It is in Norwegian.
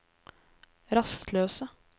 rastløse